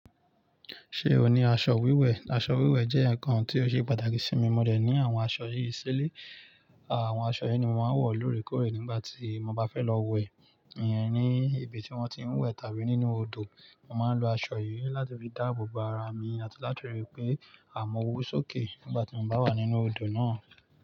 Ṣé o ní aṣọ wíwẹ̀? Aṣọ wíwẹ̀ jẹ́ ǹkan tí ó ṣe pàtàkì sí mi. Mo dẹ̀ ní àwọn aṣọ yìí sílè. Àwọn aṣọ yìí ni màá ń wọ̀ lórèkórè nígbà tí mo bá fẹ́ lọ wẹ̀, ìyẹn ní ibi tí wọ́n ti ń wẹ̀ tàbí nínú odò. Mo máa ń lo aṣọ yìí láti fi dáàbò bo ara mi àti láti ríi pé àmọ́ ò wó sókè nígbà tí mo bá wà nínú odò náà.